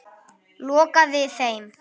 Lokaði þeim.